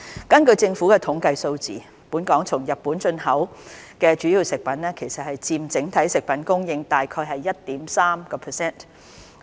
根據政府統計處的數字，本港從日本進口的主要食物佔整體食物供應約 1.3%。